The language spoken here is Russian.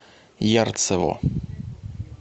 ярцево